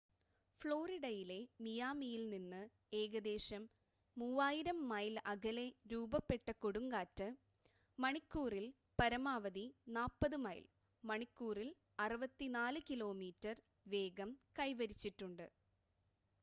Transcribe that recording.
ഫ്ലോറിഡയിലെ മിയാമിയിൽ നിന്ന് ഏകദേശം 3,000 മൈൽ അകലെ രൂപപ്പെട്ട കൊടുങ്കാറ്റ് മണിക്കൂറിൽ പരമാവധി 40 മൈൽ മണിക്കൂറിൽ 64 കിലോമീറ്റർ വേഗം കൈവരിച്ചിട്ടുണ്ട്